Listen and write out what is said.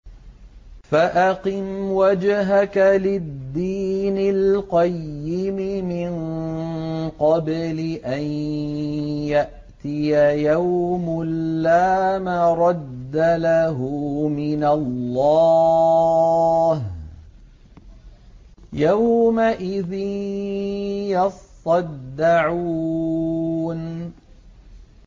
فَأَقِمْ وَجْهَكَ لِلدِّينِ الْقَيِّمِ مِن قَبْلِ أَن يَأْتِيَ يَوْمٌ لَّا مَرَدَّ لَهُ مِنَ اللَّهِ ۖ يَوْمَئِذٍ يَصَّدَّعُونَ